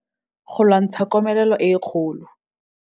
Go lwantsha komelelo e e kgolo.